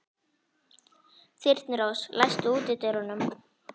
Þyrnirós, læstu útidyrunum.